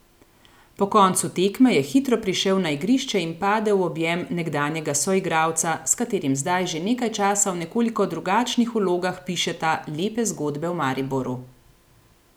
Po koncu tekme je hitro prišel na igrišče in padel v objem nekdanjega soigralca, s katerim zdaj že nekaj časa v nekoliko drugačnih vlogah pišeta lepe zgodbe v Mariboru.